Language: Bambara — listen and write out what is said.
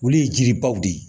Olu ye jiribaw de ye